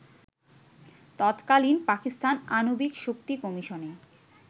তৎকালীন পাকিস্তান আণবিক শক্তি কমিশনে